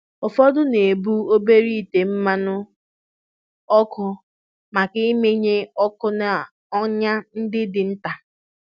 Ụfọdụ na-ebu obere ite mmanụ ọkụ maka ịmụnye ọkụ na ọnya ndị dị nta.